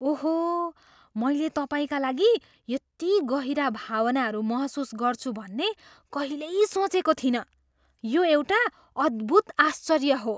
ओहो! मैले तपाईँका लागि यति गहिरा भावनाहरू महसुस गर्छु भन्ने कहिल्यै सोचेको थिइनँ। यो एउटा अद्भुत आश्चर्य हो।